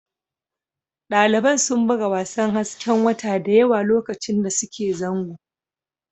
Daliban sun buga wasan hasken wata da yawa lokacin da suke zango